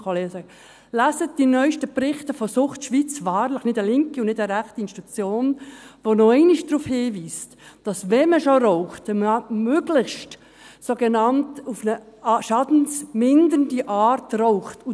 Lesen Sie die neuesten Berichte von «Sucht Schweiz», wahrlich nicht eine linke und auch keine rechte Institution, die nochmals darauf hinweist, dass wenn man schon raucht, man möglichst auf eine sogenannt schadensmindernde Art rauchen sollte.